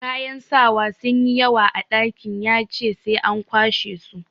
Kayan sawa sun yi yawa a dakin, ya ce sai an kwashe wasu.